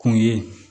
Kun ye